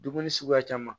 Dumuni suguya caman